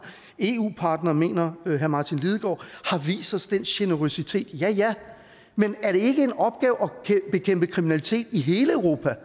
eu partnere mener herre martin lidegaard har vist os den generøsitet ja ja men er det ikke en opgave at bekæmpe kriminalitet i hele europa